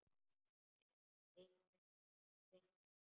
Eina vininn.